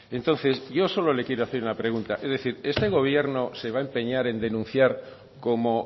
entonces yo solo le quiero hacer una pregunta es decir este gobierno se va empeñar en denunciar como